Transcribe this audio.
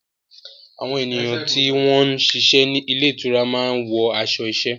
Àwọn ènìyàn tí wọ́n ń ṣiṣẹ́ ní ilé ìtura máa ń wọ aṣọ iṣẹ́.